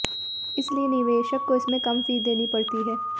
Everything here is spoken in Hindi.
इसलिए निवेशक को इसमें कम फी देनी पड़ती है